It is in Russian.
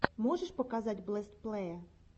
можешь показать бэст плэе